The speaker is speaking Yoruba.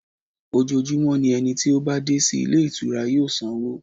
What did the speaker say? Ojoojúmọ́ ni ẹni tí ó bá dé sí ilé ìtura yóò sanwó.